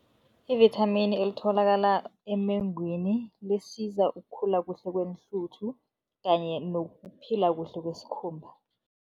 Ivithamini elitholakala emengwini lisiza ukukhula kuhle kweenhluthu kanye nokuphila kuhle kwesikhumba.